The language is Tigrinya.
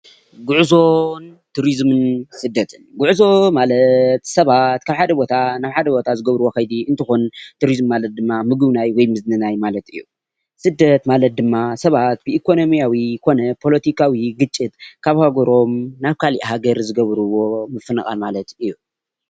ጉዕዞን ቱሪዙምን ስደትን ጉዕዞ ማለት ስባት ካብ ሓደ ቦታ ናብ ሓደ ቦታ ዝገብርዎ ከይዲ እንትኮነ ቱሪዝም ማለት ድማ ምጉብናይ ወይ ምዝንይናይ ማለት እዩ፡፡ ስደት ማለት ድማ ስባት ብኢኮንሚያዊ ኮነ ፖሎቲካዊ ግጭት ካብ ሃገሮም ናብ ካሊእ ሃገር ዝገብርዎ ምፍንቃል ማለት እዩ፡፡